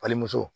Fali muso